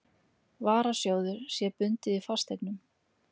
varasjóður, sé bundið í fasteignum.